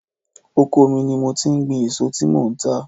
Oko mi ni mo ti ń gbin èso tí mò ń tà.